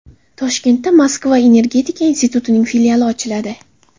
Toshkentda Moskva energetika institutining filiali ochiladi.